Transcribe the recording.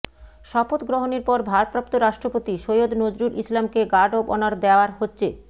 শপথ গ্রহণের পর ভারপ্রাপ্ত রাষ্ট্রপতি সৈয়দ নজরুল ইসলামকে গার্ড অব অনার দেয়ার হচ্ছে